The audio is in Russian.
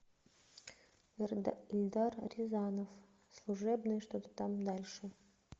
эльдар рязанов служебный что то там дальше